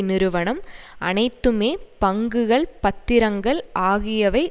நிறுவனம் அனைத்துமே பங்குகள் பத்திரங்கள் ஆகியவை